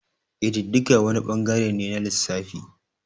Kididdiga wani ɓangare ne na lissafi.